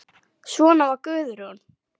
Svona var Guðrún.